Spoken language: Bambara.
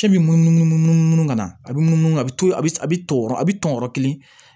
K'i bi munumunu munumunu ka na a bɛ munumunu a bɛ to a bɛ tɔn a bɛ tɔn yɔrɔ kelen